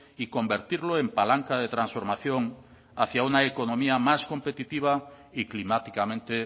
y convertirlo en palanca de transformación hacia una economías más competitiva y climáticamente